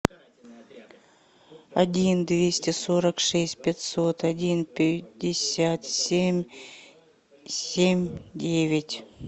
один двести сорок шесть пятьсот один пятьдесят семь семь девять